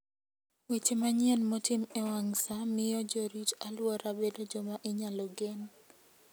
Weche manyien motim e wang' sa miyo jorit-alwora bedo joma inyalo gen.